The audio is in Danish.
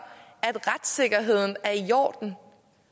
at retssikkerheden er i orden